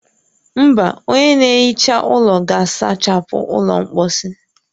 Mba, onye na-ehicha ụlọ ga-asachapụ ụlọ mposi